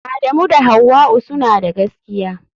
Adamu da Hauwa'u suna da gaskiya.